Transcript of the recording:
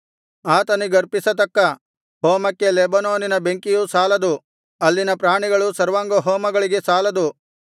ಆತನಿಗರ್ಪಿಸತಕ್ಕ ಹೋಮಕ್ಕೆ ಲೆಬನೋನಿನ ಬೆಂಕಿಯು ಸಾಲದು ಅಲ್ಲಿನ ಪ್ರಾಣಿಗಳು ಸರ್ವಾಂಗಹೋಮಗಳಿಗೆ ಸಾಲದು